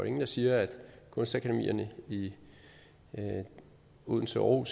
ingen der siger at kunstakademierne i odense og